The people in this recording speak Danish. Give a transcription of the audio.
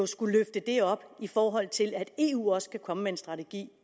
skulle løfte det op i forhold til at eu også skulle komme med en strategi